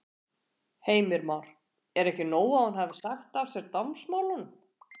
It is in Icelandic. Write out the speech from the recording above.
Heimir Már: Er ekki nóg að hún hafi sagt af sér dómsmálunum?